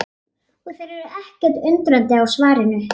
Og þær eru ekkert undrandi á svarinu.